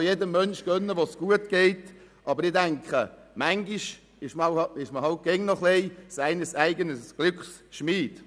Ich mag es auch jedem Menschen gönnen, wenn es ihm gut geht, aber manchmal ist man halt dennoch ein wenig «seines eigenen Glückes Schmied».